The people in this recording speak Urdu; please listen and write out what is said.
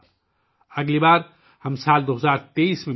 اگلی بار ہم 2023 ء میں ملیں گے